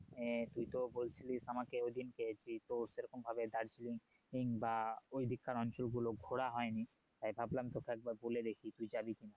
তুই তো বলছিলি আমাকে ওই দিন যে তোর সে রকম ভাবে দার্জিলিং বা ওই দিককার অঞ্চল গুলো ঘোড়া হয় নি তাই ভাবলাম তোকে একবার বলে দেখি তুই যাবি কি না